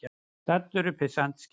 Staddur upp við Sandskeið.